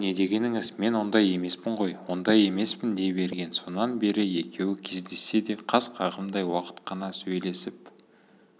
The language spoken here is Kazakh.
о не дегеніңіз мен ондай емеспін ғой ондай емеспін дей берген сонан бері екеуі кездессе де қас қағымдай уақыт қана сөйлесіп